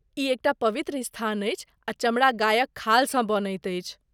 ई एक टा पवित्र स्थान अछि आ चमड़ा गायक खालसँ बनैत अछि।